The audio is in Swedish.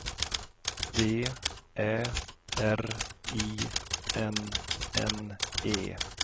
D Ä R I N N E